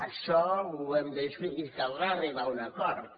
això ho hem de discutir i caldrà arribar a un acord